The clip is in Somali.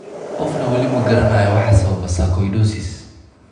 Qofna weli ma garanayo waxa sababa sarcoidosis.